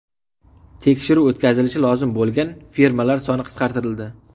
Tekshiruv o‘tkazilishi lozim bo‘lgan firmalar soni qisqartirildi.